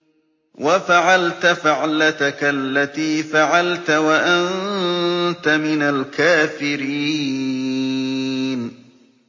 وَفَعَلْتَ فَعْلَتَكَ الَّتِي فَعَلْتَ وَأَنتَ مِنَ الْكَافِرِينَ